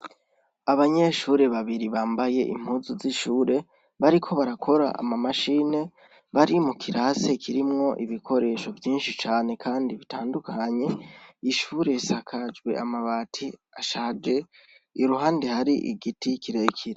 Abanyeshure babiri bambaye impuzu z'ishure, bariko barakora ama mashine bari mu kirasi kirimwo ibikoresho vyinshi cane Kandi bitandukanye, ishure risakajwe amabati ashaje iruhande hari igiti kirekire.